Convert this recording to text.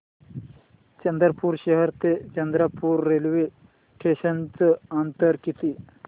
चंद्रपूर शहर ते चंद्रपुर रेल्वे स्टेशनचं अंतर किती